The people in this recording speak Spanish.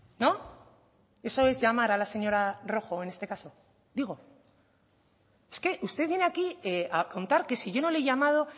no eso es llamar a la señora rojo en este caso digo es que usted viene aquí a contar que si yo no le he llamado